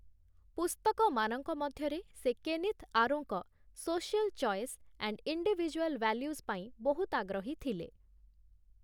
ପୁସ୍ତକମାନଙ୍କ ମଧ୍ୟରେ ସେ କେନିଥ୍‌ ଆରୋଙ୍କ 'social choice' and 'individual values' ପାଇଁ ବହୁତ ଆଗ୍ରହୀ ଥିଲେ ।